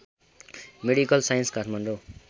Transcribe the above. medical science Kathmandu